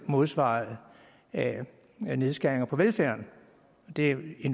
modsvares af nedskæringer på velfærden det er